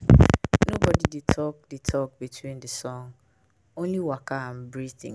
nobody dey talk dey talk between the song — only waka and breathing dey.